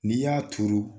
N'i y'a turu